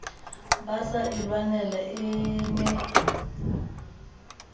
basa e lwanela e ne